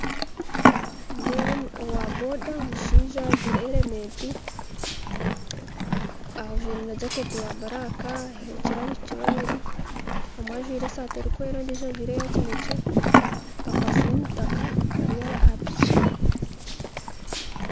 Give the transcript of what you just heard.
Nindeeba owa boda omushaija ajwaire heremeti ajwaire na jacket ya buraaka aheekire abaishiki babiri omwe ajwaire esaati erikwera ondijo ajwaire eya kinekye bakwatsire emitaka bari aha piki.